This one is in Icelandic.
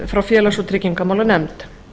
frá félags og tryggingamálanefnd